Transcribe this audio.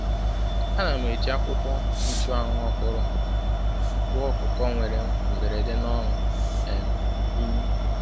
Ana m eji akwukwo nchuanwu ọhụrụ gwọọ ọkụkọ nwere mberede n’ọnụ um imi.